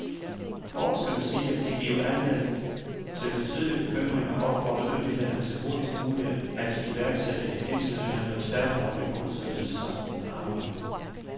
Forskerne siger, at de giver anledning til betydelig bekymring og opfordrer myndighederne til hurtigst muligt at iværksætte et internationalt og tværfagligt undersøgelsesarbejde.